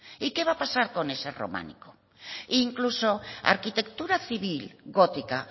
y qué va a pasar con ese románica e incluso arquitectura civil gótica